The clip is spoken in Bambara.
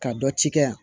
Ka dɔ ci kɛ yan